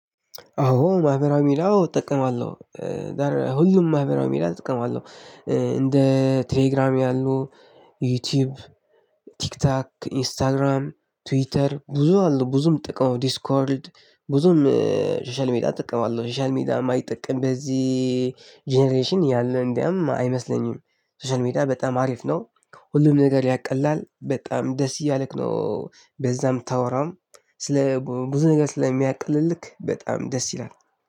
አዎ! ማህበራዊ ሚዲያ አዎ እጠቀማለሁ። ታዲያ ሁሉም ማህበራዊ ሚዲያ እጠቀማለሁ፤ እንደ ቴሌግራም ያሉ፣ ዩቲዩብ፣ ቲክታክ፣ ኢንስታግራም፣ ትዊተር ብዙ አሉ፤ ብዙ ነው የምጠቀመው ዲስኮርድ ብዙም ሶሻል ሜዲያ እጠቀማለሁ። ሶሻል ሚዲያ የማይጠቀም በዚህ ጀነሬሽን ያለ እንዲያውም አይመስለኝም። ሶሻል ሜደያ በጣም አሪፍ ነው። ሁሉ ነገር ያቀላል። በጣም ደስ እያለክ ነው በዛ የምታወራዉን ስለ ብዙ ነገር ስለሚያቀልልክ በጣም ደስ ይላል።